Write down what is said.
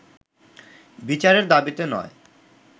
বিচারের দাবিতে নয়